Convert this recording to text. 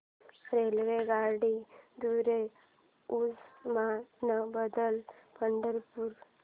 रेल्वेगाड्यां द्वारे उस्मानाबाद ते पंढरपूर